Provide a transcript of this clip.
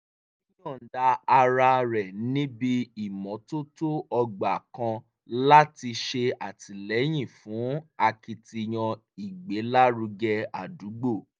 ó yọ̀ǹda ara rẹ̀ níbi ìmọ́tótó ọgbà kan láti ṣè àtìlẹ́yìn fún akitiyan ìgbélárugẹ ádúgbò